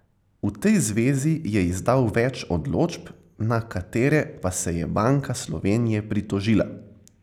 V tej zvezi je izdal več odločb, na katere pa se je Banka Slovenije pritožila.